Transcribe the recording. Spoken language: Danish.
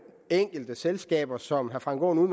enkelte selskaber som herre frank aaen